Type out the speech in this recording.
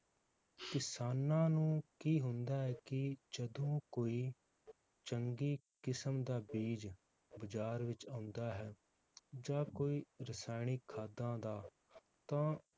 ਕਿਸਾਨਾਂ ਨੂੰ ਕੀ ਹੁੰਦਾ ਹੈ ਕਿ ਜਦੋ ਕੋਈ ਚੰਗੀ ਕਿਸਮ ਦਾ ਬੀਜ ਬਾਜ਼ਾਰ ਵਿਚ ਆਉਂਦਾ ਹੈ, ਜਾਂ ਕੋਈ ਰਸਾਇਣਿਕ ਖਾਦਾਂ ਦਾ ਤਾਂ